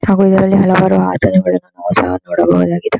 ಹಾಗು ಇದರಲ್ಲಿ ನಾವು ಹಲವಾರು ಆಚರಣೆಗಳನ್ನು ನಾವು ಸಹ ನೋಡಬಹುದ್ದಾಗಿದೆ.